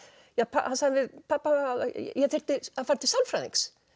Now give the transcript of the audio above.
hann sagði við pabba að ég þyrfti að fara til sálfræðings